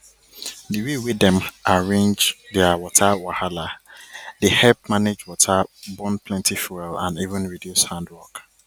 di way wey dem arrange their water wahala dey help manage water burn plenty fuel and even reduce hand work